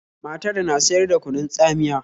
Matar na siyar da kunun tsamiya